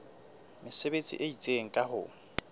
mesebetsi e itseng ka ho